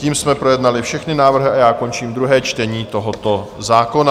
Tím jsme projednali všechny návrhy a já končím druhé čtení tohoto zákona.